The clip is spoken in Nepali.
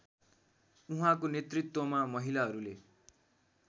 उहाँको नेतृत्वमा महिलाहरूले